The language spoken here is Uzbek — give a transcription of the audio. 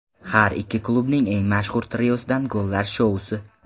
Har ikki klubning eng mashhur triosidan gollar shousi.